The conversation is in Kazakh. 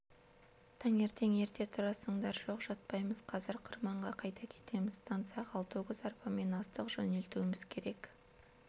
таңертең ерте тұрасыңдар жоқ жатпаймыз қазір қырманға қайта кетеміз станцияға алты өгіз арбамен астық жөнелтуіміз керек